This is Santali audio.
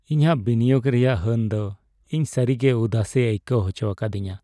ᱤᱧᱟᱹᱜ ᱵᱤᱱᱤᱭᱳᱜ ᱨᱮᱭᱟᱜ ᱦᱟᱹᱱ ᱫᱚ ᱤᱧ ᱥᱟᱹᱨᱤᱜᱮ ᱩᱫᱟᱹᱥᱮ ᱟᱹᱭᱠᱟᱹᱣ ᱦᱚᱪᱚ ᱟᱠᱟᱫᱤᱧᱟᱹ ᱾